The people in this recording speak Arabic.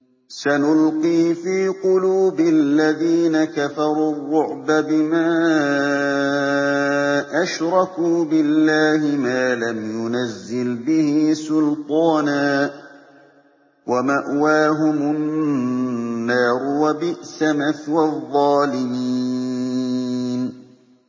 سَنُلْقِي فِي قُلُوبِ الَّذِينَ كَفَرُوا الرُّعْبَ بِمَا أَشْرَكُوا بِاللَّهِ مَا لَمْ يُنَزِّلْ بِهِ سُلْطَانًا ۖ وَمَأْوَاهُمُ النَّارُ ۚ وَبِئْسَ مَثْوَى الظَّالِمِينَ